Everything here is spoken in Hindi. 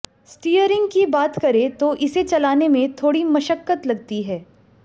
स्टीयरिंग की बात करें तो इसे चलाने में थोड़ी मशक्कत लगती है